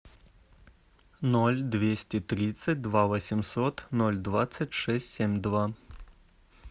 ноль двести тридцать два восемьсот ноль двадцать шесть семь два